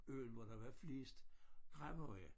Øen hvor der var flest gravhøje